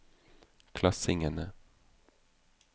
klassingene